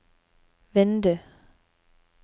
vindu